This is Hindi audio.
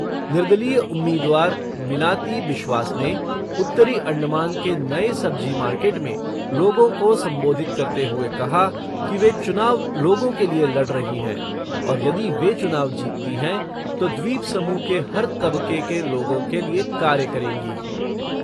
निर्दलीय उम्मीदवार मिनाती बिश्वास ने उत्तरी अण्डमान के नए सब्जी मार्केट में लोगों को संबोधित करते हुए कहा कि वे चुनाव लोगों के लिए लड़ रही हैं और यदि वे चुनाव जीतती हैं, तो द्वीपसमूह के हर तबके के लोगों के लिए कार्य करेंगी।